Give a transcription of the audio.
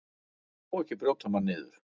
Þetta má ekki brjóta mann niður.